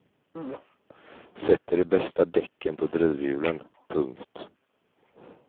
Sätter de bästa däcken på drivhjulen. punkt